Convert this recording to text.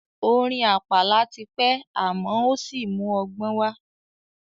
Orin àpàlà ti pẹ́ àmọ́ ò sí mú ọgbọ́n wá.